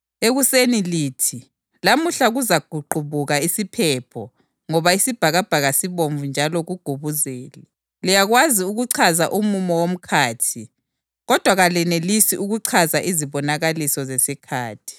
ekuseni lithi, ‘Lamuhla kuzaqubuka isiphepho ngoba isibhakabhaka sibomvu njalo kugubuzele.’ Liyakwazi ukuchaza umumo womkhathi kodwa kalenelisi ukuchaza izibonakaliso zesikhathi.